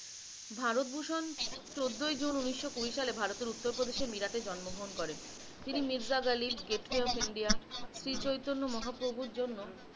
ভারত ভুশন চোদ্দ জুন উনিশশ আশি সালে ভারতের উত্তর প্রদেশে মিরা তে জন্ম গ্রহন করেন। তিনি মিরজা গালি gateway of India Shri Chaitanya মহাপ্রভুর জন্য,